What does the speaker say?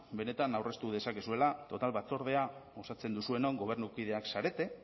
benetan aurreztu dezakezuela total batzordea osatzen duzuenok gobernukideak zarete